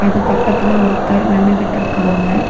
அது பக்கத்துல ஒருத்தர் நின்னுகிட்டு இருக்காங்க.